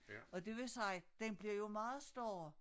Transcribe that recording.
Og det vil sige den bliver jo meget større